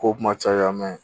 Kow kuma caya mɛ